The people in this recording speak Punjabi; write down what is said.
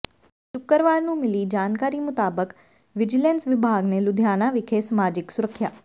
ਸ਼ੁੱਕਰਵਾਰ ਨੂੰ ਮਿਲੀ ਜਾਣਕਾਰੀ ਮੁਤਾਬਕ ਵਿਜੀਲੈਂਸ ਵਿਭਾਗ ਨੇ ਲੁਧਿਆਣਾ ਵਿਖੇ ਸਮਾਜਿਕ ਸੁਰੱਖਿਆ